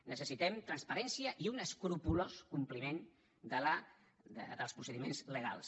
necessitem transparència i un escrupolós compliment dels procediments legals